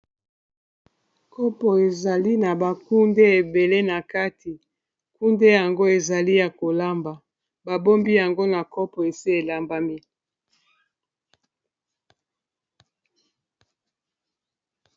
kopo ezali na bakunde ebele na kati nkunde yango ezali ya kolamba babombi yango na kopo esi elambami